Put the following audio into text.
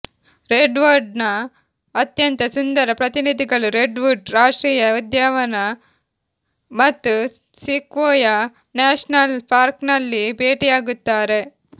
ರೆಡ್ವುಡ್ನ ಅತ್ಯಂತ ಸುಂದರ ಪ್ರತಿನಿಧಿಗಳು ರೆಡ್ವುಡ್ ರಾಷ್ಟ್ರೀಯ ಉದ್ಯಾನವನ ಮತ್ತು ಸಿಕ್ವೊಯ ನ್ಯಾಷನಲ್ ಪಾರ್ಕ್ನಲ್ಲಿ ಭೇಟಿಯಾಗುತ್ತಾರೆ